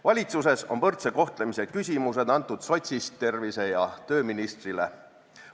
Valitsuses on võrdse kohtlemise küsimused antud sotsist tervise- ja tööministrile.